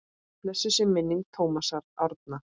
Blessuð sé minning Tómasar Árna.